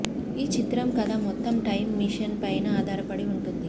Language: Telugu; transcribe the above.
ఈ చిత్రం కథ మొత్తం టైం మెషిన్ పైన ఆధారపడి ఉంటుంది